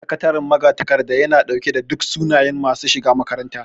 Sakataren magatakarda yana ɗauke da duk sunayen masu shiga makarantar